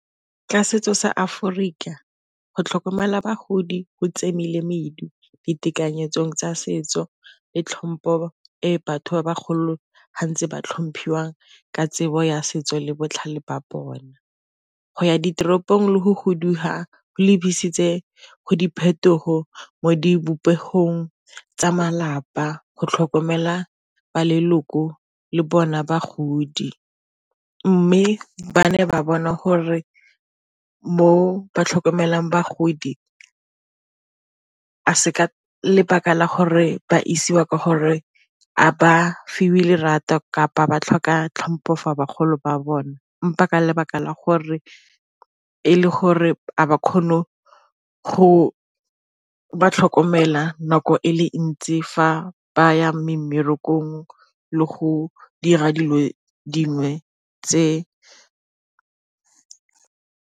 Ka setso sa Aforika go tlhokomela bagodi go , ditekanyetsong tsa setso le tlhompho e batho ba ba golo ba ntse ba tlhomphiwang ka tsebo ya setso le botlhale ba bona. Go ya ditoropong le go fuduga go lebiseditswe ko diphetogo mo mo dibopegong tsa malapa go tlhokomela ba leloko le bona bagodi, mme ba ne ba bona gore mo ba tlhokomelang bagodi ga e se ka lebaka la gore ba isiwa ka gore a ba fiwe le kapa ba tlhoka tlhompho for bagolo ba bona, 'mpa ka lebaka la gore e le gore ga ba kgone go ba tlhokomela nako e le ntsi fa ba ya mmerekong le go dira dilo dingwe tse.